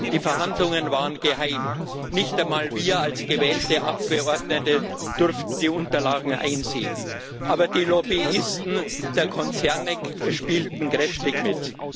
Die Verhandlungen waren geheim, nicht einmal wir als gewählte Abgeordnete durften die Unterlagen einsehen, aber die Lobbyisten der Konzerne spielten kräftig mit.